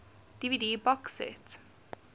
dvd box set